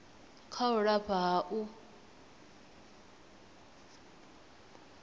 kha u lafha ha u